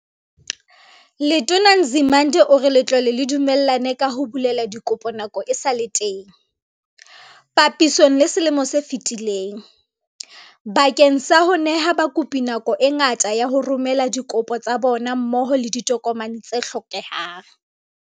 Letona Nzimande o re letlole le dumellane ka ho bulela dikopo nako e sa le teng, papisong le selemo se fetileng, bakeng sa ho neha bakopi nako e ngata ya ho romela dikopo tsa bona mmoho le ditokomane tse hlokehang.